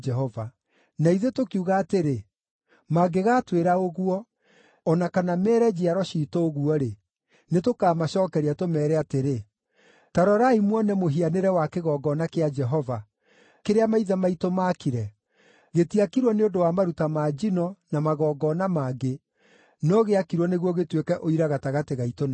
“Na ithuĩ tũkiuga atĩrĩ, ‘Mangĩgaatwĩra ũguo, o na kana meere njiaro ciitũ ũguo-rĩ, nĩtũkamacookeria, tũmeere atĩrĩ: Ta rorai muone mũhianĩre wa kĩgongona kĩa Jehova, kĩrĩa maithe maitũ maakire, gĩtiakirwo nĩ ũndũ wa maruta ma njino na magongona mangĩ, no gĩakirwo nĩguo gĩtuĩke ũira gatagatĩ gaitũ na inyuĩ.’